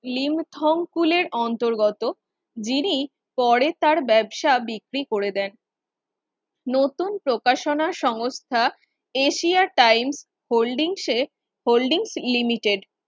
লিমথংকুলের অন্তর্গত যিনি পরে তার ব্যবসা বিক্রি কনেদের নতুন প্রকাশনা সংস্থা এশিয়া টাইমস হোল্ডিংসে হোল্ডিংস লিমিটেড